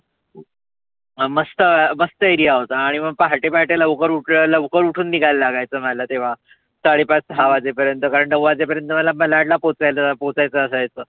अं मस्त मस्त area होता. आणि मग पहाटे पहाटे लवकर उठल्या लवकर उठून निघायला लागायच मला तेव्हा. साडे पाच सहा वाजेपर्यंत कारण नऊ वाजे पर्यंत मला मलाड ला पोहचायचं असायचं.